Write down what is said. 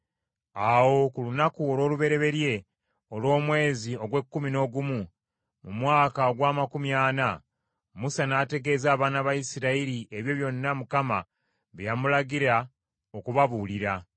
Awo ku lunaku olw’olubereberye olw’omwezi ogw’ekkumi n’ogumu, mu mwaka ogw’amakumi ana, Musa n’ategeeza abaana ba Isirayiri ebyo byonna Mukama bye yamulagira okubabuulira.